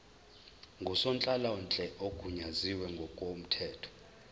ngusonhlalonhle ogunyaziwe ngokomthetho